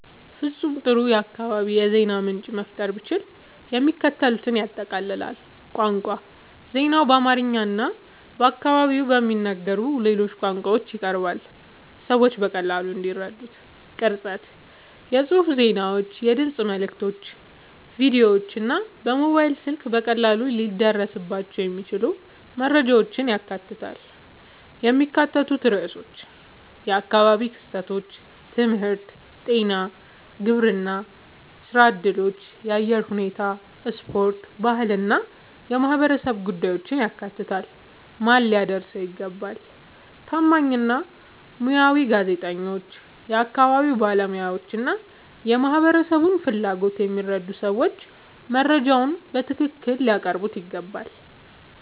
ፍጹም ጥሩ የአካባቢ የዜና ምንጭ መፍጠር ብችል፣ የሚከተሉትን ያጠቃልላል፦ ቋንቋ ዜናው በአማርኛ እና በአካባቢው በሚነገሩ ሌሎች ቋንቋዎች ይቀርባል፣ ሰዎች በቀላሉ እንዲረዱት። ቅርጸት የጽሑፍ ዜናዎች፣ የድምፅ መልዕክቶች፣ ቪዲዮዎች እና በሞባይል ስልክ በቀላሉ ሊደረስባቸው የሚችሉ መረጃዎችን ያካትታል። የሚካተቱ ርዕሶች የአካባቢ ክስተቶች፣ ትምህርት፣ ጤና፣ ግብርና፣ ሥራ እድሎች፣ የአየር ሁኔታ፣ ስፖርት፣ ባህል እና የማህበረሰብ ጉዳዮችን ያካትታል። ማን ሊያደርሰው ይገባ? ታማኝ እና ሙያዊ ጋዜጠኞች፣ የአካባቢ ባለሙያዎች እና የማህበረሰቡን ፍላጎት የሚረዱ ሰዎች መረጃውን በትክክል ሊያቀርቡት ይገባል።